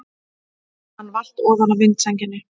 Hann valt ofan af vindsænginni!